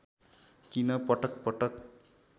किन पटक पटक